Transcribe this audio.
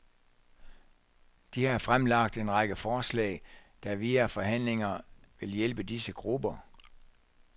De har fremlagt en række forslag, der via forhandlinger vil hjælpe disse grupper.